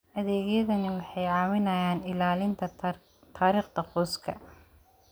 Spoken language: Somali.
Adeegyadani waxay caawiyaan ilaalinta taariikhda qoyska.